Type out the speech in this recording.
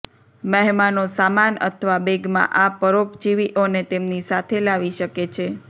મહેમાનો સામાન અથવા બેગમાં આ પરોપજીવીઓને તેમની સાથે લાવી શકે છે